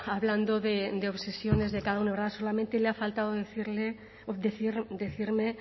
hablando de obsesiones de cada uno verá solamente le ha faltado decirle decirme